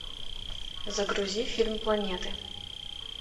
загрузи фильм планеты